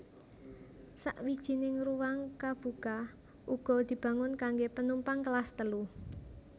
Sawijining ruwang kabuka uga dibangun kanggo penumpang Kelas Telu